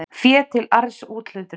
Fé til arðsúthlutunar.